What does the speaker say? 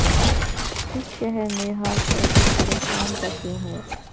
اس شہر میں ہر شخص پریشان سا کیوں ہے